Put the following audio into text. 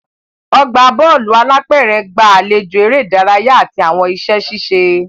Ọgbà Bọ́ọ̀lù alápẹ̀rẹ̀ gba àlejò eré ìdárayá àti àwọn iṣẹ́ ṣíṣe